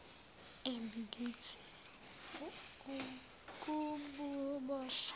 embi kithi wukuboshwa